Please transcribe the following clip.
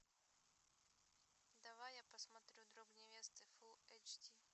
давай я посмотрю друг невесты фул эйч ди